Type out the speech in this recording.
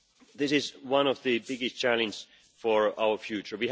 Members, this is one of the biggest challenges for our future.